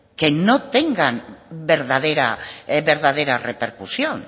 que no tengan verdadera repercusión